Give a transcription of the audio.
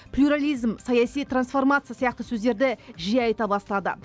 плюрализм саяси трансформация сияқты сөздерді жиі айта бастады